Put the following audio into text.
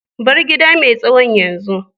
bar gida mai tsawon yanzu.